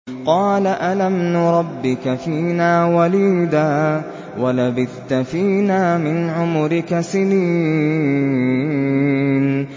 قَالَ أَلَمْ نُرَبِّكَ فِينَا وَلِيدًا وَلَبِثْتَ فِينَا مِنْ عُمُرِكَ سِنِينَ